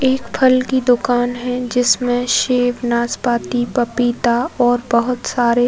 क फल की दुकान है जिसमें सेब नासपाती पपीता और बहोत सारे --